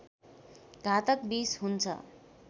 घातक विष हुन्छ